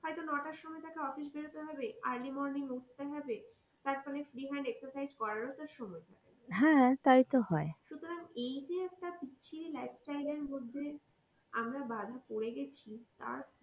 হয়তো নয়টার সময় তাকে office বেরোতে হবে early morning উঠতে হবে তারপর free hand exercise করার ও তো সময় নেই তাই তো হয় সুতরাং এই যে একটা বিচ্ছিরি lifestyle এর মধ্যে আমরা বাঁধা পরে গেছি আর,